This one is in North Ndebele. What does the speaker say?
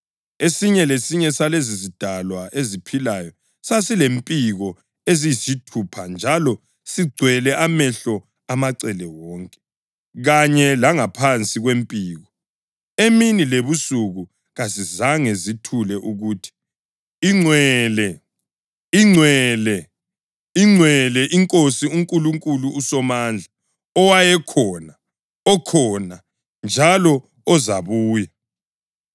Esinye lesinye salezozidalwa eziphilayo sasilempiko eziyisithupha njalo sigcwele amehlo amacele wonke, kanye langaphansi kwempiko. Emini lebusuku kazizange zithule ukuthi: “ ‘Ingcwele, Ingcwele, Ingcwele, iNkosi uNkulunkulu uSomandla,’ + 4.8 U-Isaya 6.3 owayekhona, okhona, njalo ozabuya.”